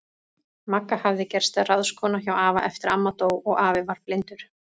Magga hafði gerst ráðskona hjá afa eftir að amma dó og afi varð blindur.